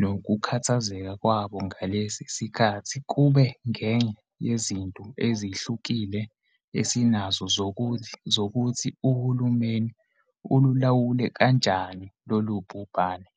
nokukhathazeka kwabo ngalesi sikhathi kube ngeye yezinto ezehlukile esinazo zokuthi uhulumeni ululawule kanjani lolu bhubhane.